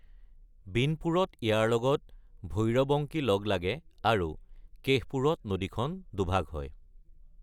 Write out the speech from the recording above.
বিনপুৰত ইয়াৰ লগত ভৈৰবংকী লগ লাগে, আৰু কেশপুৰত নদীখন দুভাগ হয়।